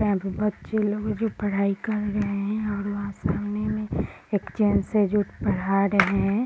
यहाँ पे बच्चे लोग जो पढाई कर रहे है और वहां सामने में एक जेंट्स है जो पढ़ा रहे है।